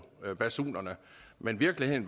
men virkeligheden